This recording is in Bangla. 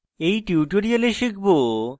in tutorial শিখব: